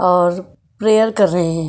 और प्रेयर कर रहे हैं --